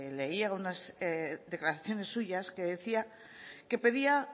le leía unas declaraciones suyas que decía que pedía